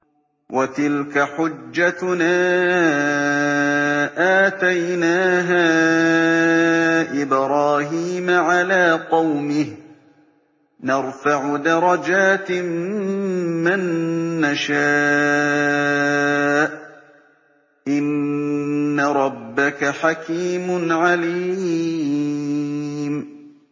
وَتِلْكَ حُجَّتُنَا آتَيْنَاهَا إِبْرَاهِيمَ عَلَىٰ قَوْمِهِ ۚ نَرْفَعُ دَرَجَاتٍ مَّن نَّشَاءُ ۗ إِنَّ رَبَّكَ حَكِيمٌ عَلِيمٌ